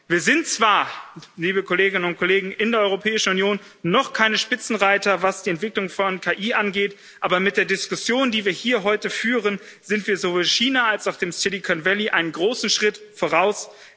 Wir sind zwar liebe Kolleginnen und Kollegen in der Europäischen Union noch keine Spitzenreiter, was die Entwicklung von KI angeht, aber mit der Diskussion, die wir hier heute führen, sind wir sowohl China als auch dem Silicon Valley einen großen Schritt voraus.